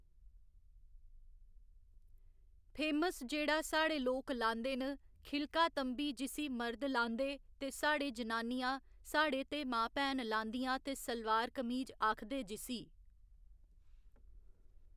famous जेह्‌ड़ा साढ़े लोक लांदे न खिलका तंबी जिसी मर्द लांदे ते साढ़े जनानियां साढ़े ते माँ भैन लांदियां ते सलवार कमीज आखदे जिसी